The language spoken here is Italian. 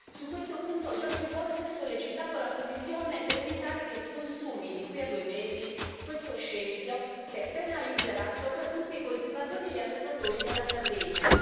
Su questo punto ho già più volte sollecitato la Commissione per evitare che si consumi, di qui a due mesi, questo scempio che penalizzerà soprattutto i coltivatori e gli allevatori della Sardegna.